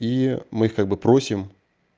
и мы их как бы просим